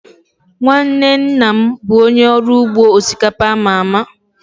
Nwanne nna m bụ onye ọrụ ugbo osikapa a ma ama